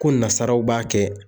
Ko nasaraw b'a kɛ.